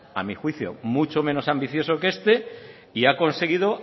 a mi juicio mucho menos ambicioso que este y ha conseguido